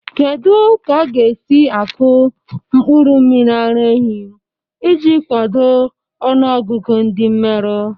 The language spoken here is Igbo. Kedu ka a ga-esi akụ mkpụrụ mmiri ara ehi iji kwado ọnụ ọgụgụ ndi mmeru?